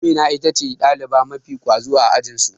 Amina itace ɗaliba mafi ƙwazo a ajinsu.